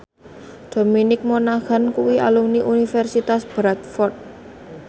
Dominic Monaghan kuwi alumni Universitas Bradford